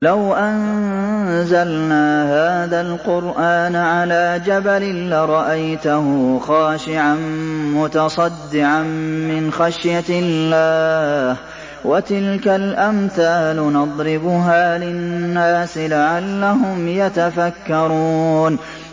لَوْ أَنزَلْنَا هَٰذَا الْقُرْآنَ عَلَىٰ جَبَلٍ لَّرَأَيْتَهُ خَاشِعًا مُّتَصَدِّعًا مِّنْ خَشْيَةِ اللَّهِ ۚ وَتِلْكَ الْأَمْثَالُ نَضْرِبُهَا لِلنَّاسِ لَعَلَّهُمْ يَتَفَكَّرُونَ